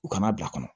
U kana bila kɔnɔ